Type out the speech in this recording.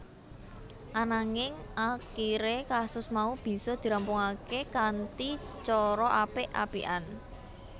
Ananging akiré kasus mau bisa dirampungaké kanthi cara apik apikan